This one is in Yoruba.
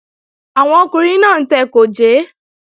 Àwọn ọkùnrin náà ń tẹ gòjé